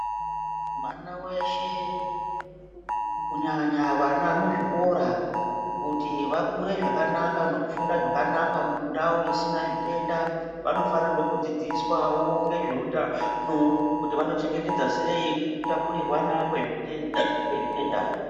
Mwana weshe kunyanya vana muzvikora kuti vakure zvakanaka nekufunda zvakanaka mundau isina zvitenda vanofanirwe kudzidziswawo ngezveutano kuti vanochengetedza sei kutapurirwana kwezvitenda.